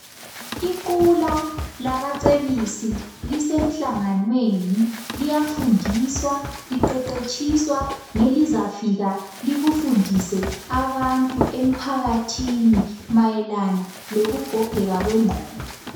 Iqula labacebisi lisemhlanganweni liyafundiswa, liqeqetshiswa ngelizafika likufundise abantu emphakathini mayelana lokugogeka kwengqondo.